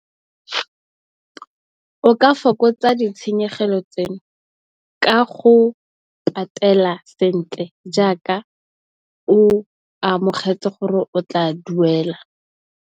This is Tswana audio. O ka fokotsa ditshenyegelo tseno ka go patela sentle jaaka, o amogetse gore o tla duela.